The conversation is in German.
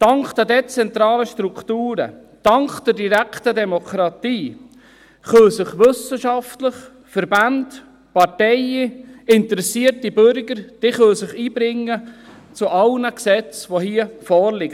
Dank der dezentralen Strukturen, dank der direkten Demokratie können sich Wissenschaftler, Verbände, Parteien, interessierte Bürger einbringen zu allen Gesetzen, die hier vorliegen.